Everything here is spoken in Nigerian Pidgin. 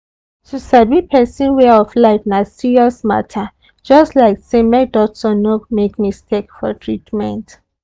to sabi person way of life na serious matter just like say make doctor no make mistake for treatment.